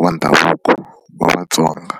wa ndhavuko wa Vatsonga.